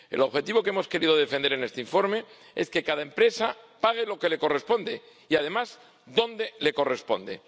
El objetivo que hemos querido defender en este informe es que cada empresa pague lo que le corresponde y, además, donde le corresponde.